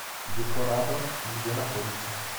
декорадо где находится